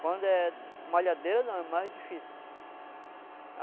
Quando é malhadeira não, é mais difícil.